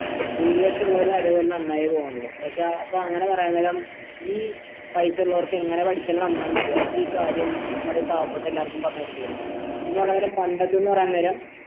ഭൂരിപക്ഷമുള്ളവറെ കാര്യം നന്നായി പോണുള്ളൂ പക്ഷേ അപ്പൊ അങ്ങനെ പറയുന്നേരം ഈ പൈസ ഉള്ളോർക്ക് എങ്ങനാ പഠിച്ചാലും നന്നാവുന്ന് അറിയ അവർക്കി കാര്യം നമ്മടെ പാവപെട്ട എല്ലാര്ക്കും പറഞ്ഞ കൊടുത്തൂടെ പണ്ടത്തെ പറയുന്നരം